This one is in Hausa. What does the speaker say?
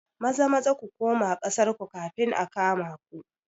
Maza-Maza ku kuma ƙasar ku kafin a kama ku